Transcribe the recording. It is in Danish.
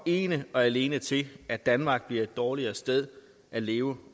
ene og alene til at danmark bliver et dårligere sted at leve